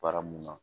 Baara mun na